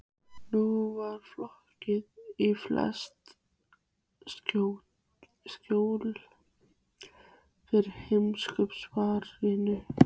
Nú var fokið í flest skjól fyrir heimskautafaranum.